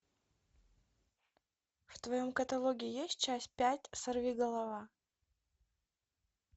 в твоем каталоге есть часть пять сорвиголова